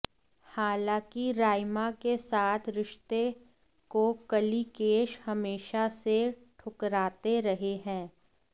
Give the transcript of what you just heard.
हालांकि राइमा के साथ रिश्ते को कलिकेश हमेशा से ठुकराते रहे है